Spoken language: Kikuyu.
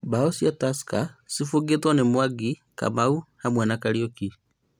Mbao cia Tusker cibũngĩtwo nĩ Mwangi, Kamau, hamwe na Kariuki